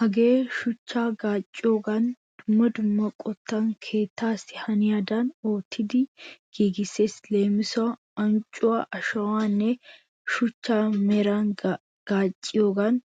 Hagee shuchchaa gaacciyogan dumma dumma qottan keettaassi haniyadan oottidi giigissees. Leemisuwaassi ancuwaa ashawaanne shuchcha meran gaacciyogan